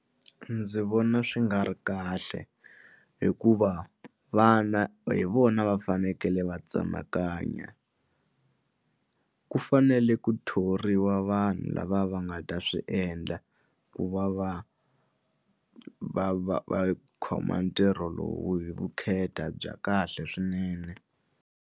Ndzi vona swi nga ri kahle hikuva vana hi vona va fanekele va tsemakanya ku fanele ku thoriwa vanhu lava va nga ta swi endla ku va va va va va khoma ntirho lowu hi vukheta bya kahle swinene.